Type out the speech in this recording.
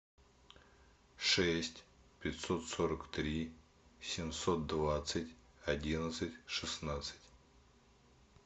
шесть пятьсот сорок три семьсот двадцать одиннадцать шестнадцать